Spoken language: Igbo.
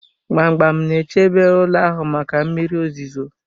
Gbamgbam na-echebe ụlọ ahụ maka mmiri ozuzo